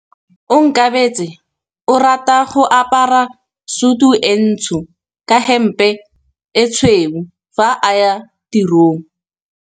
Onkabetse o rata go apara sutu e ntsho ka hempe e tshweu fa a ya tirong.